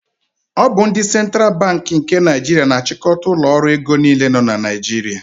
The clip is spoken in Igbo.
Ọ bụ ndị Central Banki nke Naijiria na-achịkọta ụlọ ọrụ ego niile nọ na Naijiria.